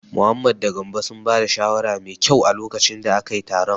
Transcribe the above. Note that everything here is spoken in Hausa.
Mohammed da Gambo sun ba da shawara mai kyau a lokacin da akayi taron.